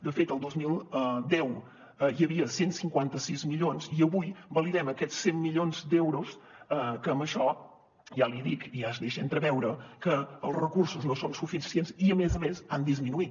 de fet el dos mil deu hi havia cent i cinquanta sis milions i avui validem aquests cent milions d’euros que amb això ja l’hi dic i ja es deixa entreveure que els recursos no són suficients i a més a més han disminuït